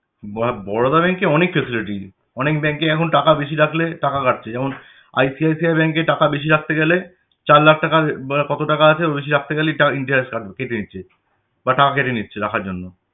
বহ~ বরদা bank এ অনেক facility । অনেক bank এ এখন টাকা বেশি রাখলে টাকা কাটছে যেমন ICIC Bank এ টাকা বেশি রাখতে গেলে চার লাখ টাকার ব কত টাকা আছে বেশি রাখতে গেলেই interest কাট~ কেটে নিচ্ছে বা টাকা কেটে নিচ্ছে রাখার জন্য।